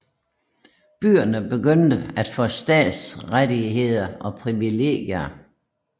Byerne begyndte at få stadsrettigheder og privilegier